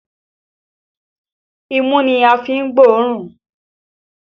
Imú ni a fi ń gbóòórùn